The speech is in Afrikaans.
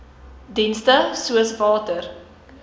dienste soos water